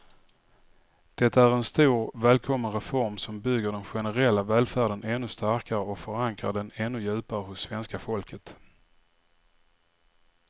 Det är en stor, välkommen reform som bygger den generella välfärden ännu starkare och förankrar den ännu djupare hos svenska folket.